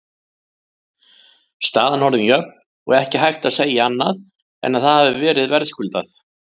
Staðan orðin jöfn og ekki hægt að segja annað en að það hafi verið verðskuldað.